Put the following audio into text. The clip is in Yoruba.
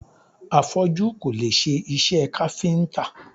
Afọ́jú kò lè ṣe iṣẹ́ káfíntà.